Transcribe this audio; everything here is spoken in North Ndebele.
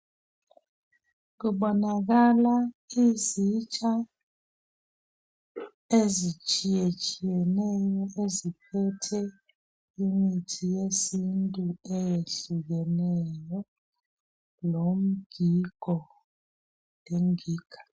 Kubonakala izitsha ezitshiyetshiyeneyo eziphethe imithi yesintu eyehlukeneyo lomgigo lengiga.